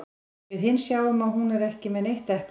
Við hin sjáum að hún er ekki með neitt epli.